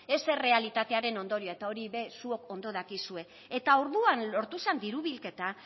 ez errealitatearen ondorioa eta hori ere zuok ondo dakizue eta orduan lortu zan diru bilketa